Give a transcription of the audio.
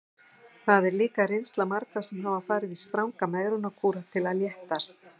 Þetta er líka reynsla margra sem hafa farið í stranga megrunarkúra til að léttast.